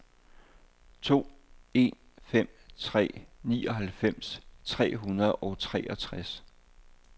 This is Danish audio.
to en fem tre nioghalvfems tre hundrede og treogtres